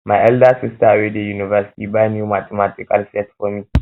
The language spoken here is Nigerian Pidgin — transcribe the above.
my elder sister wey dey university buy new mathematical set for me